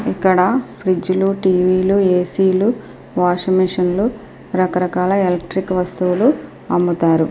ఇక్కడ ఫ్రిడ్జి లు టీవీ లు ఏసీ లు వాషింగ్ మెషిన్ లు రకరకాలు వస్తువులు అమ్ముతారు.